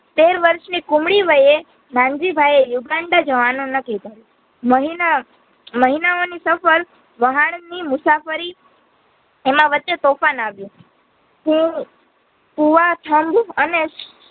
તેર વર્ષની કોમળી વયે નનજીભાઈ યુગાંડા જવાનું નક્કી કર્યું મહિના મહિનાઓ ની સફર વહાડની મુસાફરી એમાં વચ્હે તોફાન આવ્યું હું અને